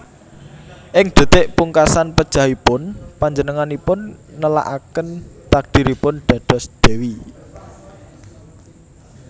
Ing detik pungkasan pejahipun panjenenganipun nelakaken takdiripun dados dèwi